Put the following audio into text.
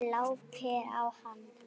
Glápir á hana.